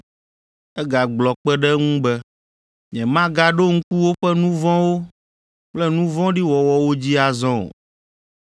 Egagblɔ kpe ɖe eŋu be, “Nyemagaɖo ŋku woƒe nu vɔ̃wo kple nu vɔ̃ɖi wɔwɔwo dzi azɔ o.”